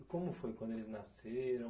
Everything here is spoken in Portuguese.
E como foi quando eles nasceram?